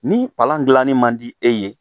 Ni palan dilanni man di e ye